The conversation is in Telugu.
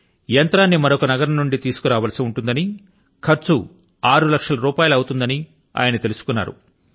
యంత్రాన్ని మరొక నగరం నుండి తీసుకురావలసి ఉంటుందని ఖర్చు ఆరు లక్షల రూపాయలు అవుతుందని ఆయన తెలుసుకున్నారు